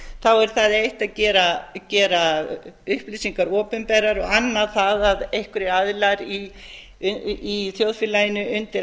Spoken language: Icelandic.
þá er það eitt að gera upplýsingar opinberar og annað það að einhverjir aðilar í þjóðfélaginu undir